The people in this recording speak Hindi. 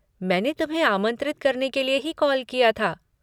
मैंने तुम्हें आमंत्रित करने के लिए ही कॉल किया था।